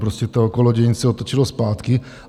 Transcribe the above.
Prostě to kolo dějin se otočilo zpátky.